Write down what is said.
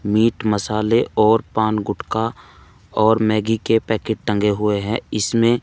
meet मसाले और पान गुटका और मैगी के पैकेट टंगे हुए हैं इसमें--